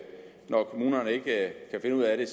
når kommunerne ikke kan finde ud af